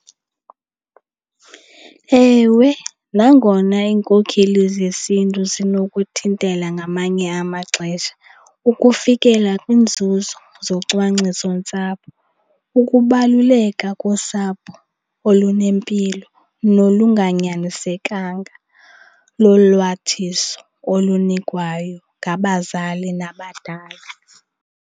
Ewe, nangona iinkokheli zesiNtu zinokuthintela ngamanye amaxesha ukufikela kwiinzuzo zocwangcisontsapho, ukubaluleka kosapho olunempilo nolunganyanisekanga lolwathiso olunikwayo ngabazali nabadala.